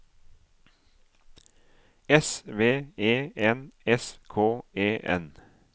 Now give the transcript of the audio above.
S V E N S K E N